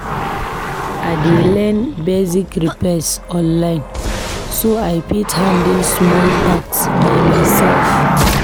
I dey learn basic repairs online so I fit handle small tasks by myself.